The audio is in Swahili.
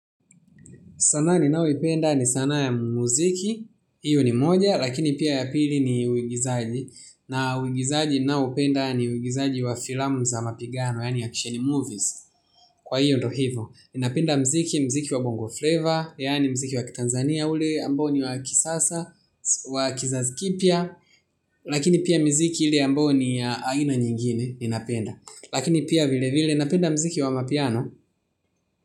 Sanaa ninayoipenda ni sanaa ya muziki hio ni moja lakini pia ya pili ni uigizaji na uigizaji ninaoupenda ni uigizaji wa filamu za mapigano yaani action movies kwa hio ndiuo hivo, napenda muziki, muziki wa bongo flavor, yaani muziki wa Tanzania ule ambao ni wa kisasa, wa kizazi kipya, lakini pia muziki ile ambayo ni ya aina nyingine, ninapenda, lakini pia vile vile, napenda muziki wa amapiano.